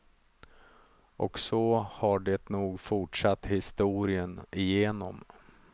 Och så har det nog fortsatt historien igenom.